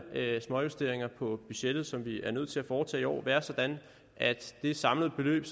småjusteringer på budgettet som vi er nødt til at foretage i år være sådan at det samlede beløb